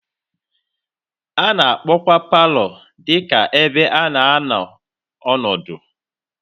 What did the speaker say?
A na-akpọkwa palọ dị ka ebe a na-anọ ọdụ.